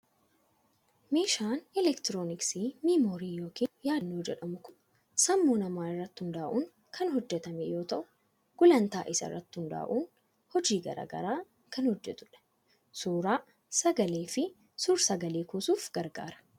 Meeshaan elektirooniksii miimoorii yookiin yaadannoo jedhamu kun sammuu namaa irratti hundaa'uun kan hojjetame yoo ta'u, gulantaa isaa irratti hundaa'uun hojii garaa garaa kan hojjetudha. Suuraa, sagalee fi suur-sagalee kuusuuf gargaara.